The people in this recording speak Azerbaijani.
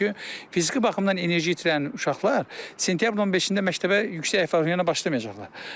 Çünki fiziki baxımdan enerji itirən uşaqlar sentyabrın 15-də məktəbə yüksək əhval-ruhiyyəyə başlamayacaqlar.